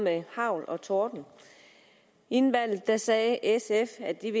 hagl og torden inden valget sagde sf at de